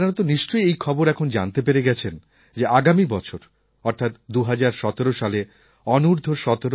আপনারা তো নিশ্চয়ই এই খবর এখন জানতে পেরে গেছেন যে আগামী বছর অর্থাৎ ২০১৭ সালে অনূর্দ্ধ১৭